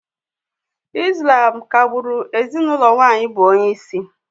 Ị́slám ka-gbụ́ru ezinụlọ nwaanyị bụ onyeisi